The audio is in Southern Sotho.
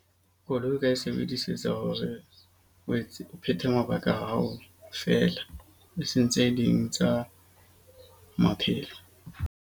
Koloi o ka e sebedisetsa hore o phethe mabaka ao feela. Eseng tse ding tsa maphelo.